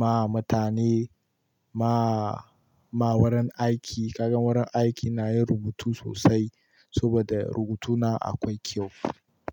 ma mutane, ma, ma wurin aiki, Kaga wurin aiki ina yin rubutu sosai saboda rubutuna akwai kyau.